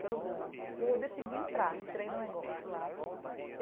pelo Ganges, e aí eu decidi entrar, entrei no negócio lá.